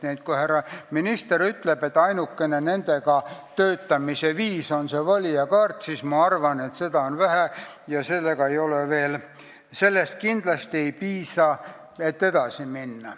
Nii et kui härra minister ütleb, et ainukene nendega töötamise viis on see valijakaart, siis ma arvan, et seda on vähe, sellest kindlasti ei piisa.